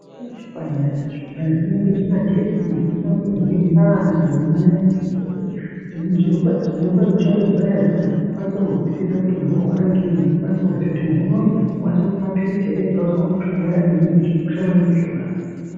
Pane zvipanera, zvipanera zvinoiswa pamagetsi zvinoshandiswa ngezviremba nyangwe nemanesi. Zviremba zviremba zvinoshandisa zvipanera zvinezvi kuti zvikwanise kuzwisisa kuti muntu uri kurwara ngenyi. Kuti akwanise kuziya kuti muntu unowu tinokwanisa kumupa mapiritsi ere? Tinokwanisa kumupa mushonga wakadini. Zvakakosha maningi zvona.